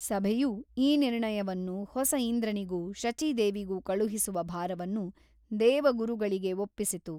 ಸಭೆಯು ಈ ನಿರ್ಣಯವನ್ನು ಹೊಸ ಇಂದ್ರನಿಗೂ ಶಚೀದೇವಿಗೂ ಕಳುಹಿಸುವ ಭಾರವನ್ನು ದೇವಗುರುಗಳಿಗೆ ಒಪ್ಪಿಸಿತು.